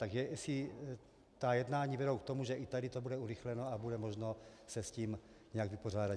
Tak jestli ta jednání vedou k tomu, že i tady to bude urychleno a bude možno se s tím nějak vypořádat.